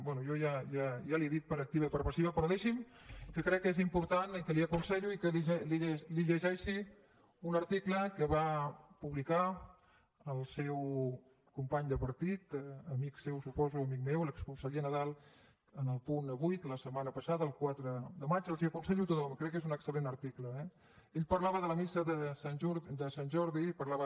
bé jo ja li he dit per activa i per passiva però deixi’m que crec que és important i que li ho aconsello que li llegeixi un article que va publicar el seu company de partit amic seu ho suposo amic meu l’exconseller nadal en el punt avuimana passada el quatre de maig els l’aconsello a tothom crec que és un excel·lent article eh ell parlava de la missa de sant jordi parlava